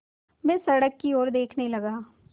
मैं सड़क की ओर देखने लगा